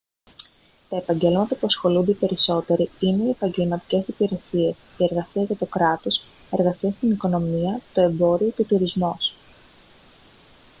τα επαγγέλματα που ασχολούνται οι περισσότεροι είναι οι επαγγελματικές υπηρεσίες η εργασία για το κράτος εργασία στην οικονομία το εμπόριο και ο τουρισμός